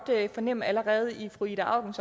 fornemme allerede i fru ida aukens